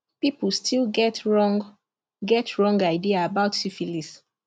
people still get wrong get wrong idea about syphilis